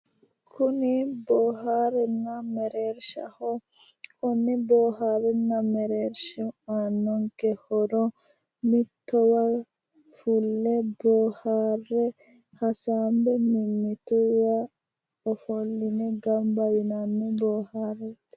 kuni boohaarranni mereershaati boohaarranni mereershi aannonke horo mittowa fulle boohaarranni mimmituyiwa gamba yine ofolline boohaarranni.